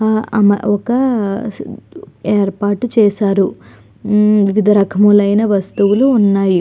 ఆ అమ ఒక్కా ఏర్పాటు చేశారు. వివిధ రకములైన వస్తువులు ఉన్నాయి.